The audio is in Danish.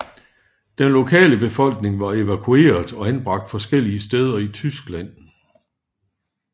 Den lokale befolkning var evakueret og anbragt forskellige steder i Tyskland